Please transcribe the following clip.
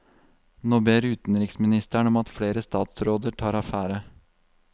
Nå ber utenriksministeren om at flere statsråder tar affære.